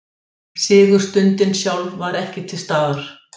Sigurstundin sjálf var ekki til staðar